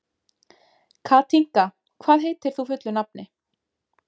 Katinka, hvað heitir þú fullu nafni?